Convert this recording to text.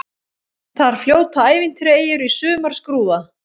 Þar fljóta ævintýraeyjur í sumarskrúða.